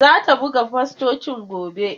Zata buga fostocin gobe.